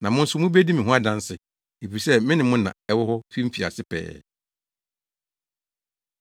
Na mo nso mubedi me ho adanse, efisɛ me ne mo na ɛwɔ hɔ fi mfiase pɛɛ.”